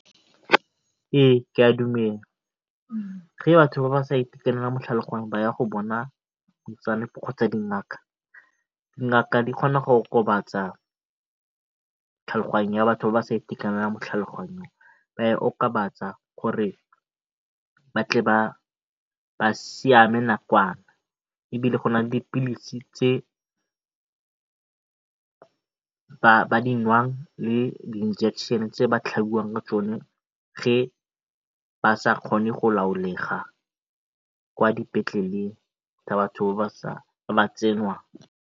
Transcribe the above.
Ee, ke a dumela, batho ba sa itekanela mo tlhaloganyong ba ya go bona kgotsa dingaka. Dingaka di kgona go okobatsa tlhaloganyo ya batho ba ba sa itekanelang mo tlhaloganyong ba e okobatsa gore ba tle ba siame nakwana ebile go na le dipilisi tse ba di nwang le di injection tse ba tlhabiwang ka tsone ge ba sa kgone go laolega kwa dipetleleng tsa batho ba ba tsenwang.